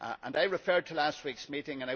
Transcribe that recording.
I refer to last week's meeting.